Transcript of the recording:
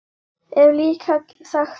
Hef líka sagt honum það.